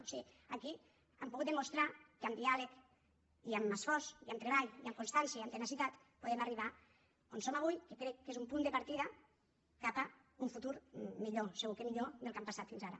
o sigui aquí han pogut demostrar que amb diàleg i amb esforç i amb treball i amb constància i amb tenacitat podem arribar on som avui que crec que és un punt de partida cap a un futur millor segur que millor del que han passat fins ara